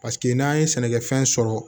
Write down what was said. Paseke n'an ye sɛnɛkɛfɛn sɔrɔ